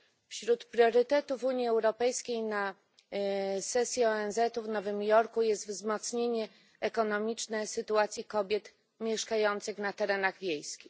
Wśród priorytetów Unii Europejskiej na sesję ONZ w Nowym Jorku jest wzmocnienie ekonomicznej sytuacji kobiet mieszkających na terenach wiejskich.